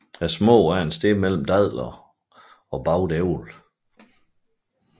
Smagen er et sted mellem dadler og bagt æble